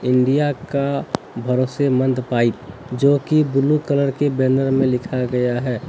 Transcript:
India का भरोसे मंद पाइप जो कि ब्ल्यू कलर के बैनर में लिखा गया है।